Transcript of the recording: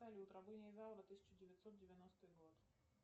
салют рабыня изаура тысяча девятьсот девяностый год